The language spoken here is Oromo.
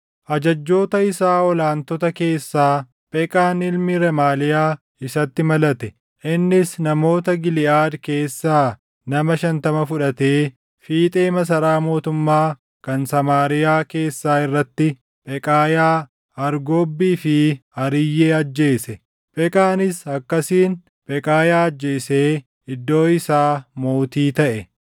Ajajjoota isaa ol aantota keessaa Pheqaan ilmi Remaaliyaa isatti malate. Innis namoota Giliʼaad keessaa nama shantama fudhatee fiixee masaraa mootummaa kan Samaariyaa keessaa irratti Pheqaayaa, Argobbii fi Ariyyee ajjeese. Pheqaanis akkasiin Pheqaayaa ajjeesee iddoo isaa mootii taʼe.